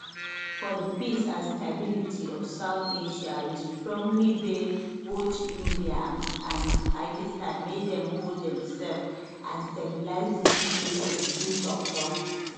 for di peace and stability of south asia we strongly beg both india and and pakistan make dem hold demsef and stabilise di situation through toktok